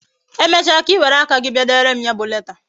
Emecha ka Ị were aka gị bịa dere m ya bụ leta